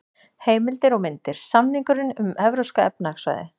Heimildir og myndir: Samningurinn um Evrópska efnahagssvæðið.